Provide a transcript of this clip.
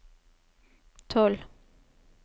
tolv